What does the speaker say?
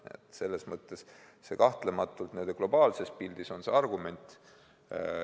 Nii et selles mõttes kahtlematult globaalses pildis on see argument.